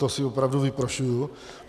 To si opravdu vyprošuji.